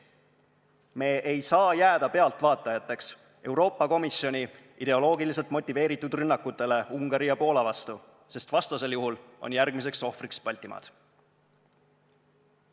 Me ei saa jääda pealtvaatajateks Euroopa Komisjoni ideoloogiliselt motiveeritud rünnakutele Ungari ja Poola vastu, sest vastasel juhul on järgmiseks ohvriks Baltimaad.